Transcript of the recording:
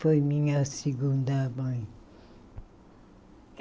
Foi minha segunda mãe.